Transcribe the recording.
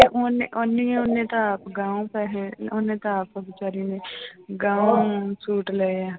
ਉਹਨੇ ਓਨੀ ਉਹਨੇ ਤਾਂ ਅਗਾਂਹੋ ਪੈਸੇ ਉਹਨੇ ਤਾਂ ਆਪ ਬੇਚਾਰੀ ਨੇ ਗਾਂਹੋ ਸੂਟ ਲਏ ਆ